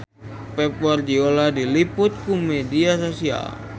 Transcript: Pep Guardiola diliput ku media nasional